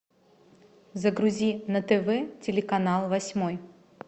загрузи на тв телеканал восьмой